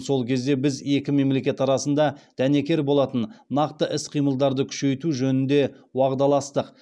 сол кезде біз екі мемлекет арасында дәнекер болатын нақты іс қимылдарды күшейту жөнінде уағдаластық